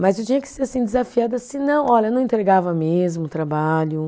Mas eu tinha que ser assim, desafiada, senão, olha, não entregava mesmo o trabalho.